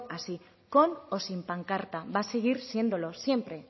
así con o sin pancarta va a seguir siéndolo siempre